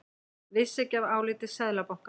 Vissi ekki af áliti Seðlabankans